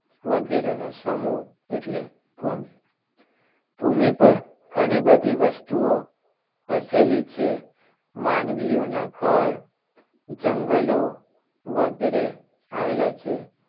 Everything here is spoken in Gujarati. વગેરેનો સમુહ એટલે ભૂમિ ભૂમિ પર ઘણી બધી વસ્તુઓ વસેલી છે. માનવીઓના ઘર જંગલો વગેરે આવેલા છે.